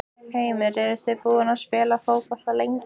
Heimir: Eruð þið búnir að spila fótbolta lengi?